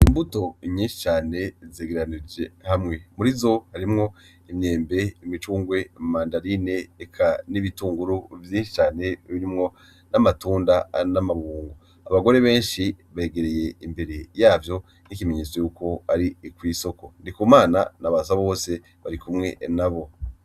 Imbuto nyishi cane zegeranirijwe hamwe, muri zo harimwo imyembe, imicungwe, mandarine eka n'ibitunguru vyinshi cane birimwo n'amatunda n'amabungo. Abagore benshi begereye imbere yavyo nk'ikimenyetso yuko ari kw'isoko. NDIKUMANA na BASABOSE barikumwe nabo.